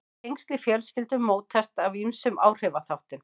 Tengsl í fjölskyldum mótast af ýmsum áhrifaþáttum.